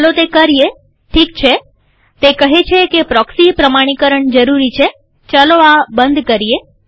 ચાલો તે કરીએઠીક છેતે કહે છે કે પ્રોક્સી પ્રમાણીકરણ જરૂરી છેચાલો આ બંધ કરીએ